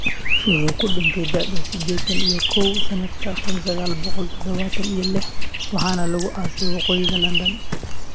Wuxuu ku dhintay da'da sidetaan iyo koow sanadka kun sagaal boqol tadhawatan iyo liix waxaana lagu aasay waqooyiga London.